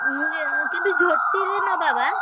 ମୁଁ କି~ କିନ୍ତୁ ଝୋଟି ରେ ନବା ବା।